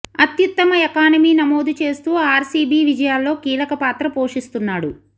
అత్యుత్తమ ఎకానమీ నమోదు చేస్తూ ఆర్సీబీ విజయాల్లో కీలక పాత్ర పోషిస్తున్నాడు